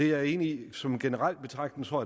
jeg enig i som generel betragtning tror